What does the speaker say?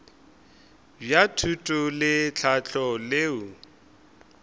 bja thuto le tlhahlo leo